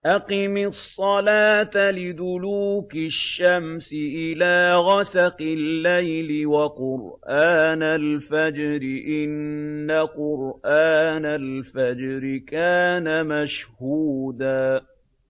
أَقِمِ الصَّلَاةَ لِدُلُوكِ الشَّمْسِ إِلَىٰ غَسَقِ اللَّيْلِ وَقُرْآنَ الْفَجْرِ ۖ إِنَّ قُرْآنَ الْفَجْرِ كَانَ مَشْهُودًا